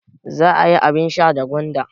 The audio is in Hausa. Za a yi abin sha da gwanda.